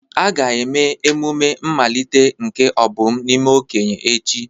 A ga-eme emume mmalite nke Obum n'ime okenye echi.